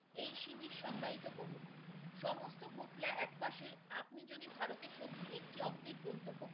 এই শিবির সংজ্ঞায়িত করুন সমস্ত একপাশে আপনি যদি ভারতের সত্যি একটি অবৃত গন্তব্য